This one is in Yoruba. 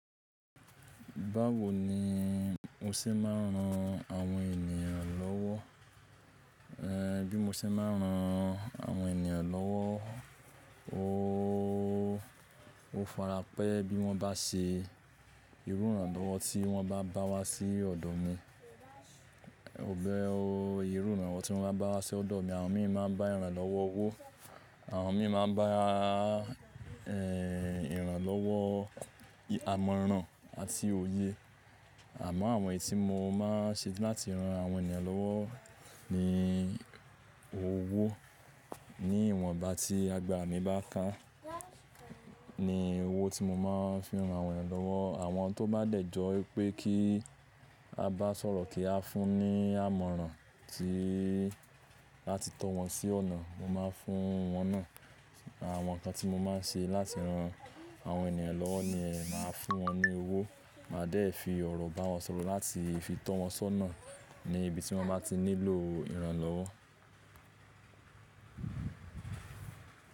Báwo ni mo ṣe máa ń ran àwọn ènìyàn lọ́wọ́? Bí mo ṣe máa ń ran àwọn ènìyàn lọ́wọ́, ó farapẹ́ bí wọ́ bá ṣe ìrúran lọ́wọ́ tí wọ́n bá bá wa sí ọ̀dọ̀ mi. Ìrú ran lo wọ tí wọ́n bá bá wa sí ọ̀dọ̀ mi, àwọn mi máa ń bá ẹran lọ́wọ́ owó. Àwọn mi máa ń bá, ìran lọ́wọ́ imọ̀ràn àti òye. Àmọ́ àwọn èyí tí mo máa ń ṣe láti ran àwọn ènìyàn lọ́wọ́ ni owó. Ni ìwọn bá tí àgbàra mí bá kán, ní owó tí mo máa ń fi ran àwọn ènìyàn lọ́wọ́. Àwọn tó bá dẹ̀jọ́ pé kí a bá sọ̀rọ̀ kí a fún ní àmọ̀ràn tí láti tọ́ wọn sí ọ̀nà, mo máa ń fún wọn náà. Àwọn nǹkan tí mo máa ń ṣe láti ran àwọn ènìyàn lọ́wọ́ ni ẹ máa fún wọn ní owó. Màá dẹ̀ fi ọ̀rọ̀ bá wọn sọ̀rọ̀ láti fi tọ́ wọn sọ́nà ní ibi tí wọ́n bá ti nílò ìran lọ́wọ́.